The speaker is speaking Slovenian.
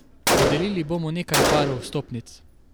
Podelili bomo nekaj parov vstopnic.